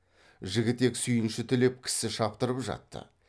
жігітек сүйінші тілеп кісі шаптырып жатты